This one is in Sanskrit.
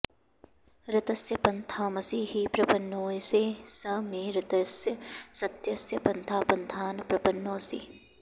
ऋतस्य पन्थामसि हि प्रपन्नोऽयसे स मे ऋतस्य सत्यस्य पन्था पन्थान प्रपन्नोऽसि